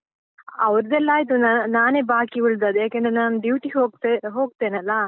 ಅವ್ರ್ದೆಲ್ಲಾ ಆಯ್ತು ನಾ~ ನಾನೇ ಬಾಕಿ ಉಳ್ದದ್ದು, ಯಾಕಂದ್ರೆ ನಾನ್ duty ಹೋಗ್ತೆ~ ಹೋಗ್ತೇನಲಾ?